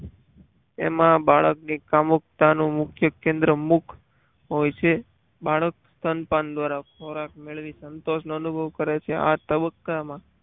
એમાં બાળકની કામુકતા નું મુખ્ય કેન્દ્ર મુક હોય છે બાળક સ્તનપાન દ્વારા ખોરાક મેળવી સંતોષનો અનુભવ કરે છે. આ તબક્કામાં